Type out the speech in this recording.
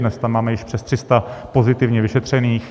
Dnes tam máme již přes 300 pozitivně vyšetřených.